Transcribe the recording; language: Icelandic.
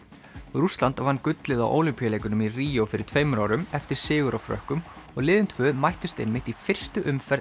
Rússland vann gullið á Ólympíuleikunum í Ríó fyrir tveimur árum eftir sigur á Frökkum og liðin tvö mættust einmitt í fyrstu umferð